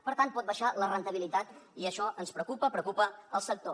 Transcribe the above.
per tant pot baixar la rendibilitat i això ens preocupa preocupa el sector